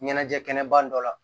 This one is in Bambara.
Ɲɛnajɛ kɛnɛba dɔ la